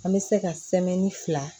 An bɛ se ka fila